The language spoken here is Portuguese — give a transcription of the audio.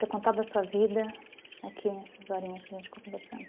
Ter contado a sua vida aqui nessas horinhas que a gente ficou conversando?